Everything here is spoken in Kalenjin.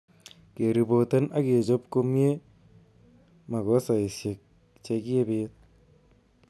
Keripoten ak kechob komie makosaisiek che kiibit.